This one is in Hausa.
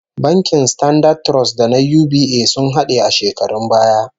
Bankin Standard Trust da na UBA sun hade a shekarun baya